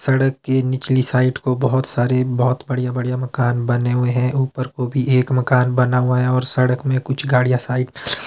सड़क की निकली साइड को बहोत सारे बहोत बढ़िया बढ़िया मकान बने हुए हैं ऊपर को भी एक मकान बना हुआ है और सड़क में कुछ गाड़ियां साइट --